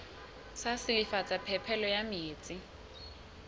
sa silafatsa phepelo ya metsi